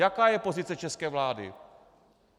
Jaká je pozice české vlády?